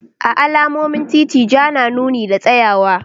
A alamomin titi Ja na nuni da tsayawa.